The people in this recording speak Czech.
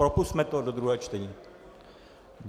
Propusťme to do druhého čtení.